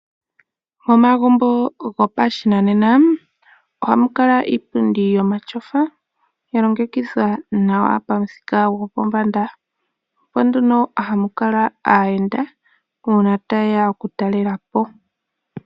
Momagumbo gopashinanena ohamu kala iipundi yomatyofa , yalongekidhwa nawa pamuthika gopombanda . Opo nduno hamu kala aayenda uuna tayeya oku talelapo.